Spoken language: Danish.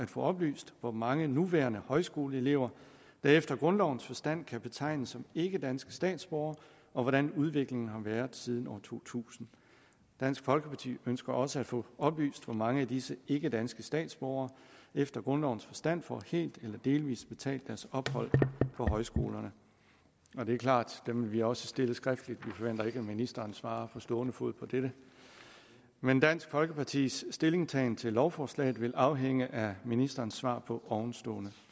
få oplyst hvor mange nuværende højskoleelever der efter grundlovens forstand kan betegnes som ikkedanske statsborgere og hvordan udviklingen har været siden år to tusind dansk folkeparti ønsker også at få oplyst hvor mange af disse ikkedanske statsborgere efter grundlovens forstand der får helt eller delvis betalt deres ophold på højskolerne og det er klart dem vil vi også stille skriftligt vi forventer ikke at ministeren svarer på stående fod på det men dansk folkepartis stillingtagen til lovforslaget vil afhænge af ministerens svar på ovenstående